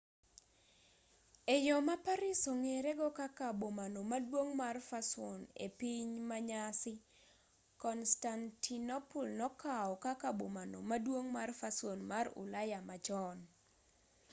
e yo ma paris ong'ere go kaka bomano maduong' mar fason e piny manyasani constantinople nokaw kaka bomano maduong' mar fason mar ulaya machon